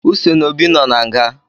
Uce na Obi nọ na nga